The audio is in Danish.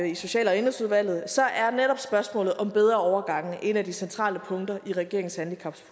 i social og indenrigsudvalget så er netop spørgsmålet om bedre overgange et af de centrale punkter i regeringens